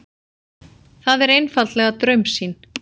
Það er einfaldlega draumsýn.